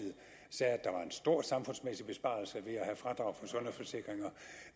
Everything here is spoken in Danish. stor samfundsmæssig besparelse ved at have fradrag for sundhedsforsikringer